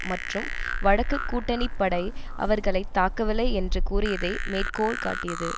மற்றும் வடக்குக் கூட்டணிப்படை அவர்களை தாக்கவில்லை என்று கூறியதை மேற்கோள்காட்டியது